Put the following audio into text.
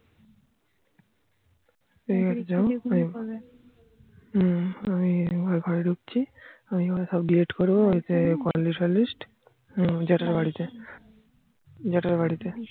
হম যাও আমি ঘরে ঢুকছি আমি ওগুলো সব delete করবো call listfall list হম জেঠার বাড়ি তে জ্যাঠার বাড়িতে